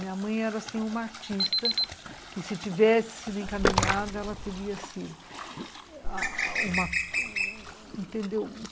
Minha mãe era, assim, uma artista que, se tivesse sido encaminhada, ela teria sido.